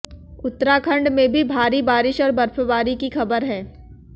उत्तराखंड में भी भारी बारिश और बर्फबारी की खबर है